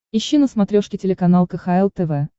ищи на смотрешке телеканал кхл тв